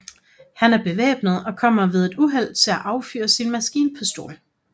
Han er bevæbnet og kommer ved et uheld til at affyre sin maskinpistol